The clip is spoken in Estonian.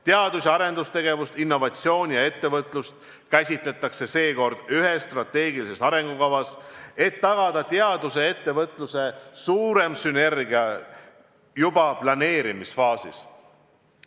Teadus- ja arendustegevust, innovatsiooni ja ettevõtlust käsitletakse seekord ühes strateegilises arengukavas, et tagada teaduse ja ettevõtluse suurem sünergia juba planeerimisfaasis.